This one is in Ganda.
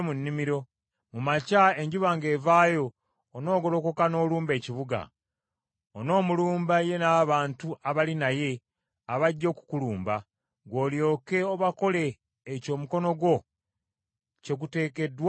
Mu makya enjuba ng’evaayo, onoogolokoka n’olumba ekibuga. Onoomulumba ye n’abantu abali naye abajja okukulumba, ggwe olyoke obakole ekyo omukono gwo kye guteekeddwa okukola.”